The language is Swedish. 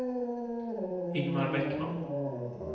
Ingmar Bäckman